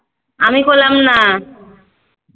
আমি করলাম না